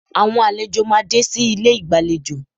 Àwọn àlejò máa dé sí ilé ìgbàlejò